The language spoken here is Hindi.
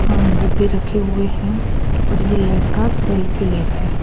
डब्बे रखे हुए हैं और ये लड़का सेल्फी ले रहा है।